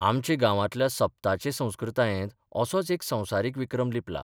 आमचे गांवांतल्या सप्ताचे संस्कृतायेंत असोच एक संवसारीक विक्रम लिपला.